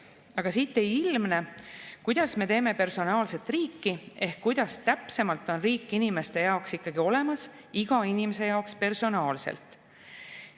Aga siit ei ilmne, kuidas me teeme personaalset riiki ehk kuidas täpsemalt on riik inimeste jaoks ikkagi olemas, iga inimese jaoks personaalselt.